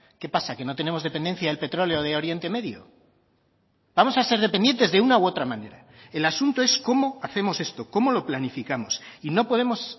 qué pasa que no tenemos dependencia del petróleo de oriente medio vamos a ser dependientes de una u otra manera el asunto es cómo hacemos esto cómo lo planificamos y no podemos